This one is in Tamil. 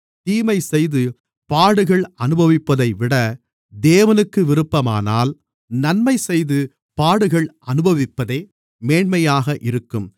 தீமைசெய்து பாடுகள் அனுபவிப்பதைவிட தேவனுக்கு விருப்பமானால் நன்மைசெய்து பாடுகள் அனுபவிப்பதே மேன்மையாக இருக்கும்